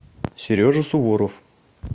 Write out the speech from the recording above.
сережа суворов